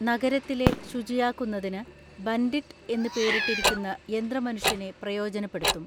നഗരത്തിലെ ശുചിയാക്കുന്നതിന് ബൻഡിട്ട് എന്ന് പേരിട്ടിരിക്കുന്ന യന്ത്രമനുഷ്യനെ പ്രയോജനപ്പെടുത്തും.